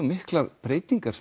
miklar breytingar